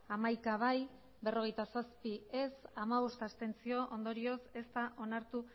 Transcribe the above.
hogeita sei bai